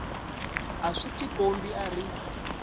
a swi tikombi a ri